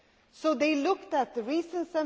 So they looked at the reasons.